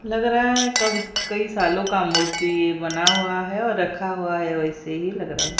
लग रहा है क कई सालों का मूर्ति ये बना हुआ है और रखा हुआ है वैसे ही लग रहे--